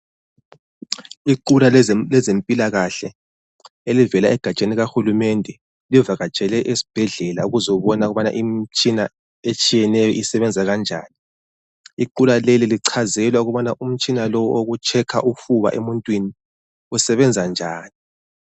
Iqula lezempilakahle elivela egatsheni lika hulumende livakatshele esibhedlela ukuzobona ukubana imitshina etshiyeneyo isebenza kanjani. Iqula leli lichazelwa ukubana umutshina lo wokutshekha ufuba emuntwini usebenza njani.